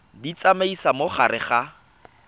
di tsamaisa mo gare ga